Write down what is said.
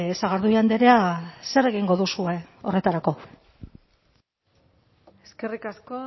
sagardui andrea zer egingo duzue horretarako eskerrik asko